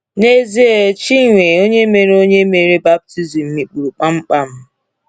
N’ezie, Chinwe onye mere onye mere baptizim mikpuru kpamkpam.